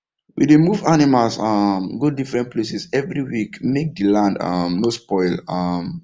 we dey move animals um go different places every week make the land um no spoil um